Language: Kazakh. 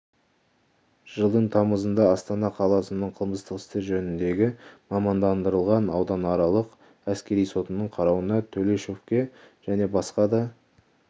жылдың тамызында астана қаласының қылмыстық істер жөніндегі мамандандырылған ауданаралық әскери сотының қарауына төлешовке және басқа да